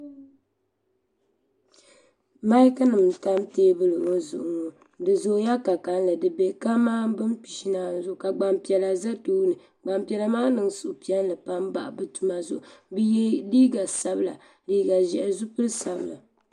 maik nim n tam teebuli ŋɔ zuɣu ŋɔ di zooya ka kanli ka mani bin pishi ni anu zuɣu ka Gbanpiɛla ʒɛ tooni gbanpiɛla maa niŋ suhupiɛlli pam bahi bi tuma zuɣu bi yɛ liiga sabila liiga ʒiɛhi zipili sabila